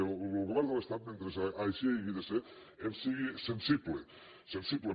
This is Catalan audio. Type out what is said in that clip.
que el govern de l’estat mentre així hagi de ser ens sigui sensible sensible